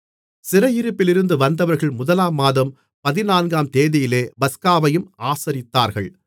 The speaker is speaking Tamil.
சிறையிருப்பிலிருந்து வந்தவர்கள் முதலாம் மாதம் பதினான்காம் தேதியிலே பஸ்காவையும் ஆசரித்தார்கள்